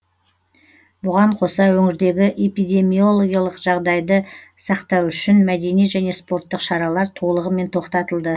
бұған қоса өңірдегі эпидемиологиялық жағдайды сақтау үшін мәдени және спорттық шаралар толығымен тоқтатылды